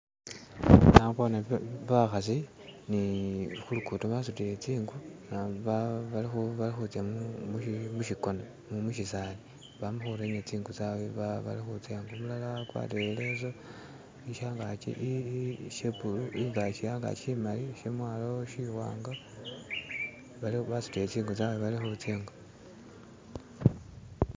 Naboone bakhasi ni khulukuto basutile tsinku bali khutsa mushikona mushisali bamakhurenya tsingu tsabwe bali khutsa ingo umulala akwarire ileso shangaki she bulu, shemwalo simali basutile tsingu tsabwe bali khutsa ingo.